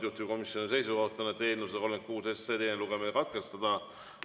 Juhtivkomisjoni seisukoht on, et eelnõu 136 teine lugemine katkestada.